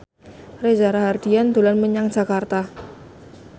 Reza Rahardian dolan menyang Jakarta